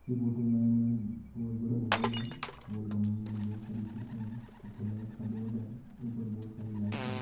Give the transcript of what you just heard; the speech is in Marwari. ये फोटो में बहुत बड़ा हॉल हैं हॉल के माइन बहुत सारी कुर्सियां है पीछे लाइट का बोर्ड हैं बहुत सारी लाइट्स हैं।